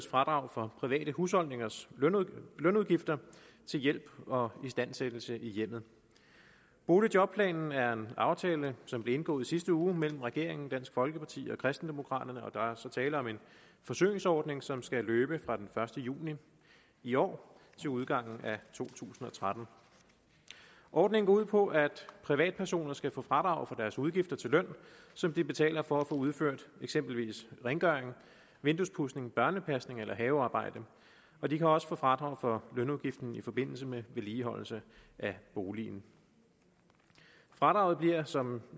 fradrag for private husholdningers lønudgifter til hjælp og istandsættelse i hjemmet boligjobplanen er en aftale som blev indgået i sidste uge mellem regeringen dansk folkeparti og kristendemokraterne og der er tale om en forsøgsordning som skal løbe fra den første juni i år til udgangen af to tusind og tretten ordningen går ud på at privatpersoner skal kunne få fradrag for udgifter til løn som de betaler for at få udført eksempelvis rengøring vinduespudsning børnepasning eller havearbejde og de kan også få fradrag for lønudgiften i forbindelse med vedligeholdelse af boligen fradraget bliver som